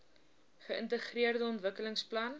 geintegreerde ontwikkelings plan